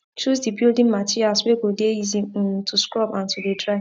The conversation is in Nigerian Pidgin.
choose de building materials wey go de easy um to scrub and to de dry